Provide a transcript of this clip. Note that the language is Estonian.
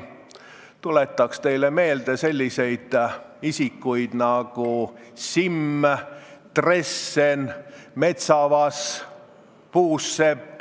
Ma tuletan teile meelde selliseid isikuid nagu Simm, Dressen, Metsavas, Puusepp